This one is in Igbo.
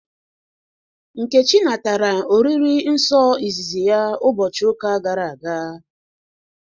Nkechi natara oriri nsọ ịzịzị ya ụbọchị ụka gara aga